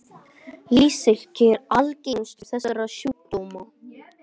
Iktsýki er algengastur þessara sjúkdóma.